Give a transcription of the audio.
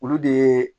Olu de ye